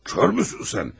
Körsən sən?